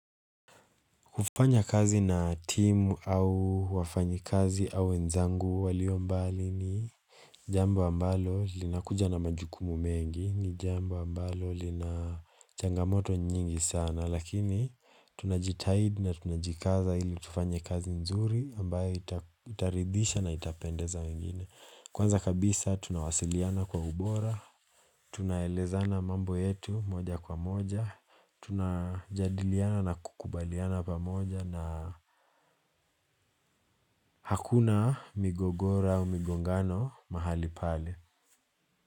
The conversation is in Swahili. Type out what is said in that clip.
Kufanya kazi na timu au wafanyi kazi au nzangu walio mbali ni jambu ambalo linakuja na majukumu mengi ni jambo ambalo linachangamoto nyingi sana lakini tunajitaid na tunajikaza ili tufanya kazi nzuri ambayo itaridisha na itapendeza wengine. Kwanza kabisa tunawasiliana kwa ubora, tunaelezana mambo yetu moja kwa moja, tunajadiliana na kukubaliana pa moja na hakuna migogora u migongano mahali pale.